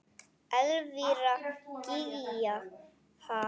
Elvíra Gýgja: Ha?